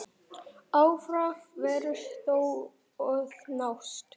Áfangar væru þó að nást.